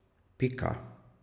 Pika.